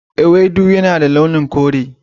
Ewedu yana da launin kure.